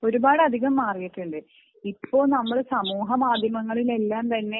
ഒരുപാട് അധികം മാറിയിട്ടുണ്ട് ഇപ്പം നമ്മൾ സമൂഹ മാധ്യമങ്ങളിൽ എല്ലാം തന്നെ